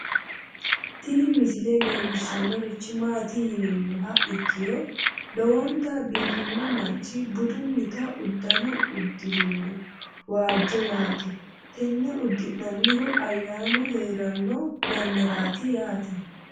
tini misile leellishshannorichi maati yinummoha ikkiro lowonta biifino manchi budunnita uddano uddirino waajjo yaate tenne uddi'nannihu ayyaanu heeranno yannaati yaate